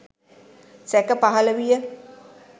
සැක පහල විය.